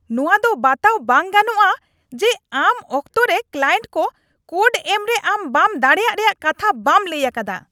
ᱱᱚᱶᱟ ᱫᱚ ᱵᱟᱛᱟᱣ ᱵᱟᱝ ᱜᱟᱱᱚᱜᱼᱟ ᱡᱮ ᱟᱢ ᱚᱠᱛᱚᱨᱮ ᱠᱞᱟᱭᱮᱱᱴ ᱠᱚ ᱠᱳᱰ ᱮᱢᱨᱮ ᱟᱢ ᱵᱟᱝ ᱫᱟᱲᱮᱭᱟᱜ ᱨᱮᱭᱟᱜ ᱠᱟᱛᱷᱟ ᱵᱟᱢ ᱞᱟᱹᱭ ᱟᱠᱟᱫᱟ ᱾